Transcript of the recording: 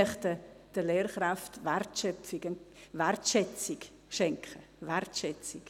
Wir möchten den Lehrkräften Wertschätzung schenken, Wertschätzung.